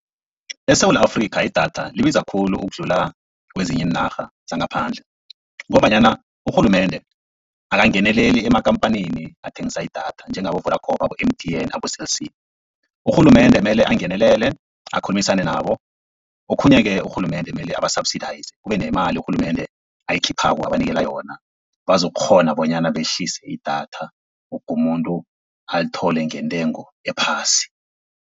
ESewula Afrika, idatha libiza khulu ukudlula kezinye iinarha zangaphandle, ngombanyana urhulumende akangeneleli emakhamphani athengisa idatha njengabo-Vodacom, abo-M_T_N, abo-Cell C. Urhulumende mele angenelele akhulumisane nabo. Okhunye-ke urhulumende mele aba-surbsidize, kube nemali urhulumende ayikhiphako abanikela yona, bazokukghona bonyana behlise idatha woke umuntu alithole ngentengo ephasi.